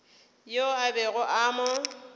yoo a bego a mo